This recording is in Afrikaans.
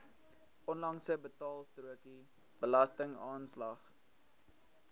onlangse betaalstrokie belastingaanslag